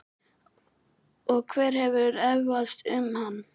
Og hver hefur efast um hann?